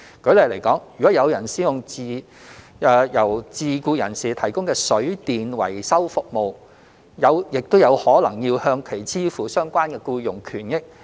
舉例來說，如果有人使用由自僱人士提供的水電維修服務，也有可能要向其支付相關僱傭權益。